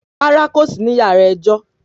Rárá kò sí ní yàrá ẹjọ́